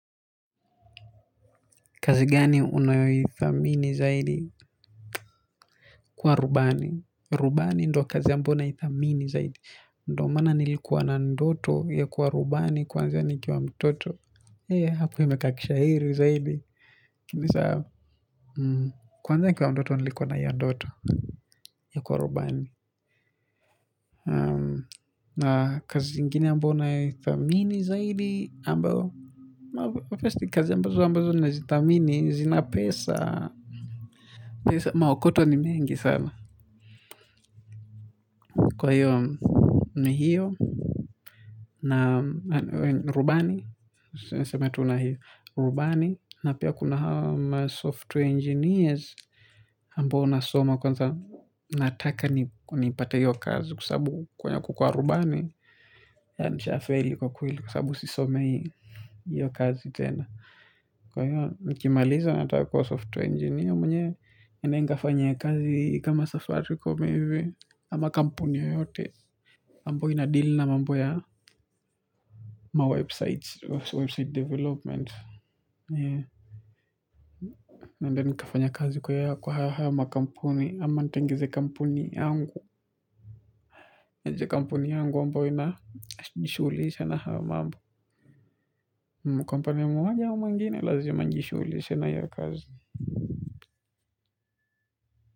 Kazi gani unayoithamini zaidi. Kuwa rubani. Rubani ndo kazi ambumayo naithamini zaidi. Ndio maana nilikuwa na ndoto ya kuwa rubani kuanzai nikiwa mtoto. Hapo imekaa kishairi zaidi. Kwanza nikiwa mtoto nilikuwa na hio ndoto ya kuwa rubani. Na kazi inginie ambayo na thamini zaidi ambao. Firsti kazi ambazo ambazo na zi thamini zina pesa. Pesa maokoto ni mengi sana. Kwa hiyo, ni hiyo, na rubani na niseme tu rubani na pia kuna hama software engineers, ambayo nasoma kwanza nataka ni ipate hiyo kazi kwa sababu kwenye kukua rubani, ya nisha faili kwa kweli kwasababu sisomei hiyo kazi tena. Kwa hiyo, nikimaliza nataka kuwa software engineer mwenye, niende nikafanye kazi kama safaricom hivi ama kampuni yoyote amboyo ina deal na mambo ya Mawebsite Website development. Nadhani ukifanya kazi kwa ya kwa haya makampuni. Ama nitengize kampuni yangu. Kampuni yangu amboyo ina jishughulisha na hayo mabo. Kwa upande mmoja au mwingine lazima nijishuhulishe na hio kazi.